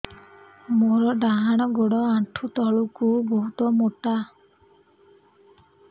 ମୋର ଡାହାଣ ଗୋଡ ଆଣ୍ଠୁ ତଳୁକୁ ବହୁତ ମୋଟା